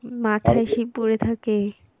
মাথায় সেই পরে থাকে